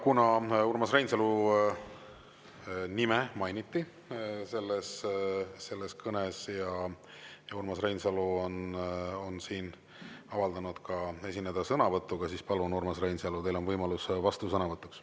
Kuna Urmas Reinsalu nime mainiti selles kõnes ja Urmas Reinsalu on avaldanud soovi esineda sõnavõtuga, siis palun, Urmas Reinsalu, teil on võimalus vastusõnavõtuks.